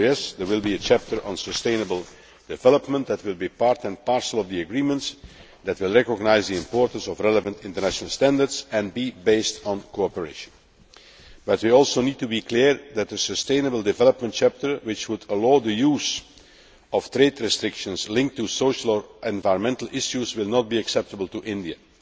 So yes, there will be a chapter on sustainable development that will be part and parcel of the agreements, that will recognise the importance of relevant international standards and be based on cooperation, but we also need to be clear that a sustainable development chapter which would allow the use of trade restrictions linked to social or environmental issues will not be acceptable to India.